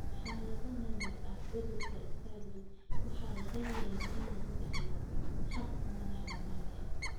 Xaalado naadir ah, cudurka Stargardt waxaa laga yaabaa in lagu dhaxlo hab madax-bannaani ah.